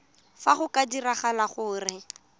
fa go ka diragala gore